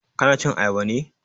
Ka na cin Ayaba ne?